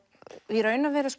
í raun og veru